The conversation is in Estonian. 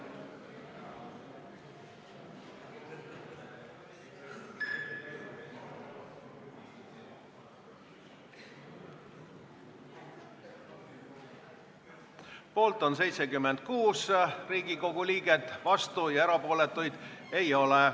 Hääletustulemused Poolt on 76 Riigikogu liiget, vastuolijaid ja erapooletuid ei ole.